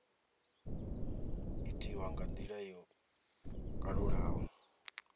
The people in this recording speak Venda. itiwa nga ndila yo kalulaho